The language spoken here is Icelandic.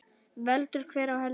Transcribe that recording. Veldur hver á heldur.